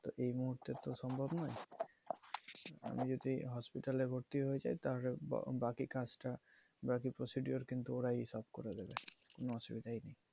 তো এই মুহূর্তে তো সম্ভব নয়। আমি যদি hospital এ ভর্তি হয়ে যাই তাহলে বাকি কাজটা বা বাকি procedure কিন্তু ওরাই solve করে দিবে